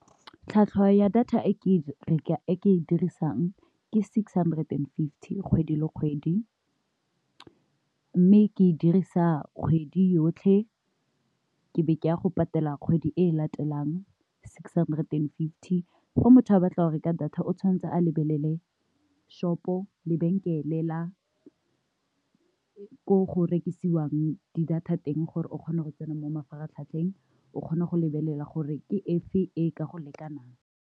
Tlhwatlhwa ya data e ke e dirisang ke six hundred and fifty kgwedi le kgwedi, mme ke e dirisa kgwedi yotlhe ke be ke ya go patela kgwedi e latelang six hundred and fifty. Fa motho a batla go reka data o tshwanetse a lebelele shop-o, lebenkeleng la ko go rekisiwang di data teng gore o kgone go tsena mo mafaratlhatlheng o kgona go lebelela gore ke efe e ka go lekanang.